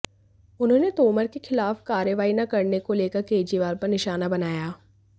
उन्होंने तोमर के खिलाफ कार्रवाई न करने को लेकर केजरीवाल पर निशाना बनाया